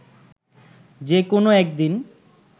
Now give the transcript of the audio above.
যেন কোনও একদিন